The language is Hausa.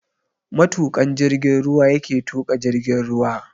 Matuƙan jigin ruwa yake tuƙa jirgin ruwa.